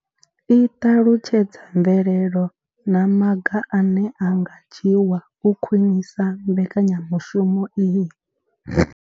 I ṱalutshedza mvelelo na maga ane a nga dzhiwa u khwinisa mbekanyamushumo iyi.